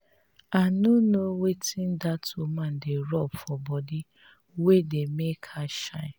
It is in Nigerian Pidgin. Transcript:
i no know wetin dat woman dey rub for body wey dey make her shine